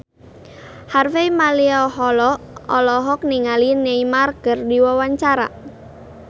Harvey Malaiholo olohok ningali Neymar keur diwawancara